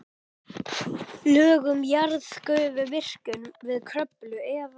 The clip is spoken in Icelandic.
Lög um jarðgufuvirkjun við Kröflu eða